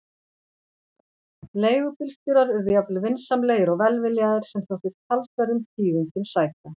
Leigubílstjórar urðu jafnvel vinsamlegir og velviljaðir, sem þótti talsverðum tíðindum sæta!